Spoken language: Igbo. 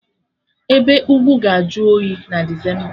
Ebe ugwu ga-ajụ oyi na Desemba